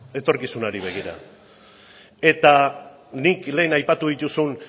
etorkizunari begira eta nik lehen aipatu dituzun